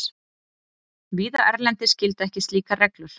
Víða erlendis gilda ekki slíkar reglur.